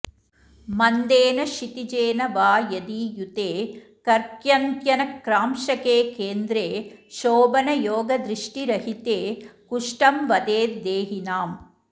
मन्देन क्षितिजेन वा यदि युते कर्क्यन्त्यनक्रांशके केन्द्रे शोभनयोगदृष्टिरहिते कुष्टं वदेद् देहिनाम्